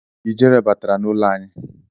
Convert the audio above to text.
Ijere batara n'ụlọ anyị.